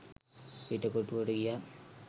පිටකොටුවට ගියත්